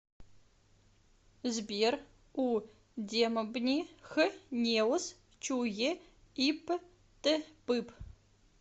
сбер у дембнй х неос чуе иптпып